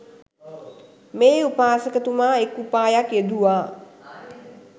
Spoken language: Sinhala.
මේ උපාසකතුමා එක් උපායක් යෙදුවා.